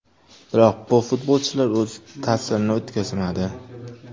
Biroq bu futbolchiga o‘z ta’sirini o‘tkazmadi.